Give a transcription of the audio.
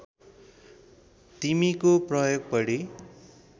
तिमीको प्रयोग बढी